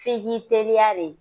F'i k'i teliya de